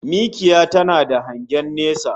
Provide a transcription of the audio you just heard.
Mikiya tana da hangen nesa